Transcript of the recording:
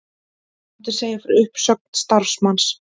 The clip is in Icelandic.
Mátti segja frá uppsögn starfsmanns